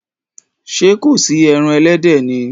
Ṣé kò sí ẹran ẹlẹ́dẹ̀ ni?